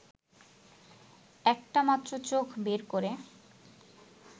একটা মাত্র চোখ বের করে